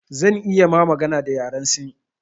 Zan iya ma magana da yaren sin